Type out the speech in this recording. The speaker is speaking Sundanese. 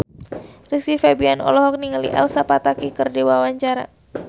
Rizky Febian olohok ningali Elsa Pataky keur diwawancara